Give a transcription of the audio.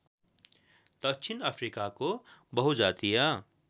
दक्षिण अफ्रिकाको बहुजातीय